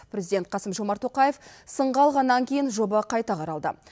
президент қасым жомарт тоқаев сынға алғаннан кейін жоба қайта қаралды